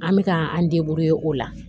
An bɛ k'an o la